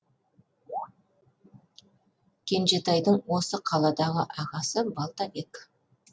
кенжетайдың осы қаладағы ағасы балтабек